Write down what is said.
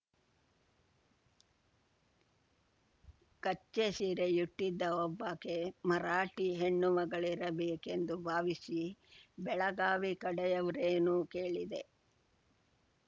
ಕಚ್ಚೆ ಸೀರೆಯುಟ್ಟಿದ್ದ ಒಬ್ಬಾಕೆ ಮರಾಠಿ ಹೆಣ್ಣುಮಗಳಿರಬೇಕೆಂದು ಭಾವಿಸಿ ಬೆಳಗಾವಿ ಕಡೆಯವ್ರೇನು ಕೇಳಿದೆ